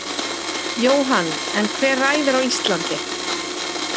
Jóhann: En hver ræður á Íslandi?